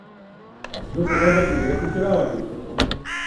Z njo pa vendar ne gre pretiravati.